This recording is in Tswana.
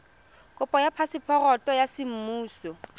kopo ya phaseporoto ya semmuso